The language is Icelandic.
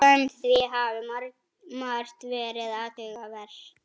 Samkvæmt því hafi margt verið athugavert